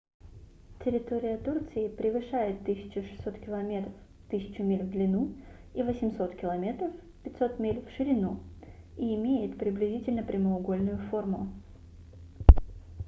территория турции превышает 1 600 километров 1 000 миль в длину и 800 км 500 миль в ширину и имеет приблизительно прямоугольную форму